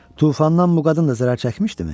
Tufandan bu qadın da zərər çəkmişdimi?